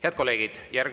Head kolleegid!